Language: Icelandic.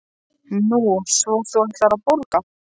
Nú, svo þú ætlar að borga?